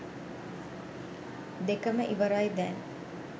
දෙකම ඉවරයි දැන්